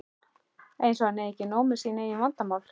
Eins og hann eigi ekki nóg með sín eigin vandamál!